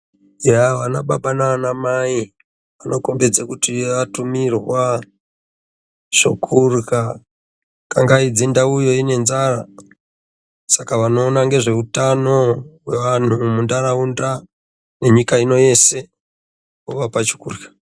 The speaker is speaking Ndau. Yaa vanababa naanamai vanokhombidze kuti vatumirwa zvokurya, kangaidze ndauyo ine nzara, saka vanoona ngezveutano hwevanhu muntaraunda, nenyika ino, yese wavapa chekurya.